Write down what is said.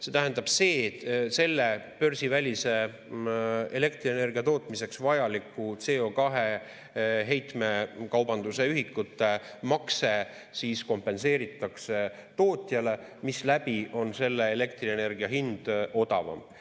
See tähendab, et selle börsivälise elektrienergia tootmiseks vajaliku CO2 heitmekaubanduse ühikute makse kompenseeritakse tootjale, misläbi on selle elektrienergia hind odavam.